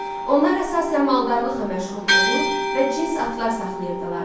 Onlar əsasən maldarlıqla məşğul olur və cins atlar saxlayırdılar.